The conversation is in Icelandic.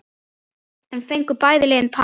Enn fengu bæði liðin par.